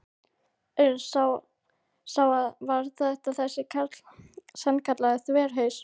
Örn sá að hann var þver þessi karl, sannkallaður þverhaus.